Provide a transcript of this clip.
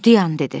Dayan dedi.